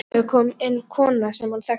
Klukkan tvö kom inn kona sem hann þekkti.